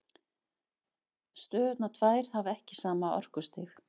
Stöðurnar tvær hafa ekki sama orkustig.